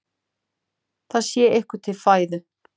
Það sé ykkur til fæðu.